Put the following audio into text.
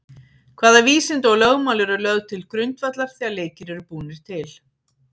Hvaða vísindi og lögmál eru lögð til grundvallar þegar leikir eru búnir til?